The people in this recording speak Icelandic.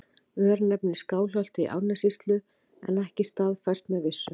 Örnefni í Skálholti í Árnessýslu en ekki staðfært með vissu.